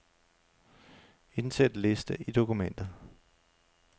Indsæt liste i dokumentet.